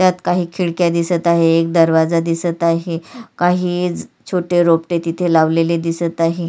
त्यात काही खिडक्या दिसत आहे एक दरवाजा दिसत आहे काही ज छोटे रोपटे तिथ लावलेले दिसत आहे.